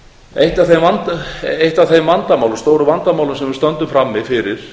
eitt af þeim stóru vandamálum sem við stöndum frammi fyrir